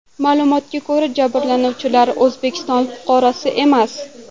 Ma’lumotlarga ko‘ra, jabrlanuvchilar O‘zbekiston fuqarosi emas.